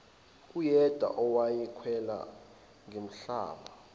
uyedwa owayemkhwelele ngenhlamba